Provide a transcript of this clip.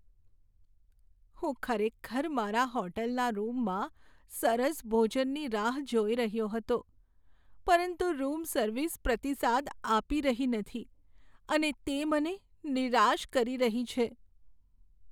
હું ખરેખર મારા હોટલના રૂમમાં સરસ ભોજનની રાહ જોઈ રહ્યો હતો, પરંતુ રૂમ સર્વિસ પ્રતિસાદ આપી રહી નથી અને તે મને નિરાશ કરી રહી છે.